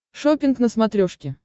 шоппинг на смотрешке